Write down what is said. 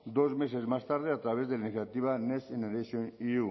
dos meses más tarde a través de la iniciativa next generation